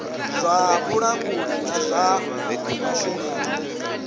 zwa vhulanguli na zwa masheleni